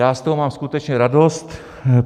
Já z toho mám skutečně radost.